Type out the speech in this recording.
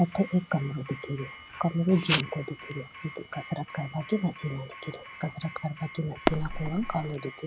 अठे एक कमरों दिखे रो कमरों जिम को दिखे रो कसरत करवा की मशीना दिखे री कसरत करवा की मशीना को रंग कालो दिखे रो।